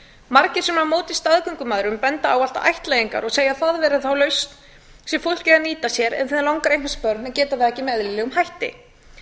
margir sem eru á móti staðgöngumæðrun benda á ættleiðingar og segja það vera þá lausn sem fólk eigi að nýta sér ef það langar að eignast börn en geta það ekki með eðlilegum hætti